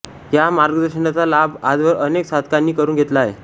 या मार्गदर्शनाचा लाभ आजवर अनेक साधकांनी करून घेतला आहे